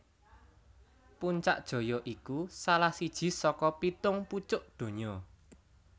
Puncak Jaya iku salah siji saka pitung pucuk donya